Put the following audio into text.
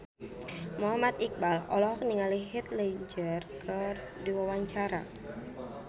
Muhammad Iqbal olohok ningali Heath Ledger keur diwawancara